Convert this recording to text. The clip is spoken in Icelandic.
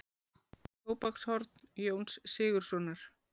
Tóbakshorn Jóns Sigurðssonar.